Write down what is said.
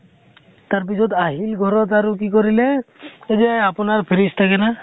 তাৰ পিছত আহি ঘৰ ত আৰু কি কৰিলে, এই যে আপোনাৰ freeze থাকে না